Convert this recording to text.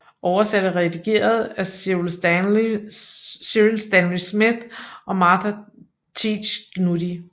Over sat og redigeret af Cyril Stanley Smith og Martha Teach Gnudi